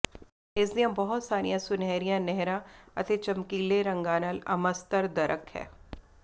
ਇਸ ਦੀਆਂ ਬਹੁਤ ਸਾਰੀਆਂ ਸੁਨਹਿਰੀਆਂ ਨਹਿਰਾਂ ਅਤੇ ਚਮਕੀਲੇ ਰੰਗਾਂ ਨਾਲ ਅਮਸਤਰਦਰਕ ਹੈ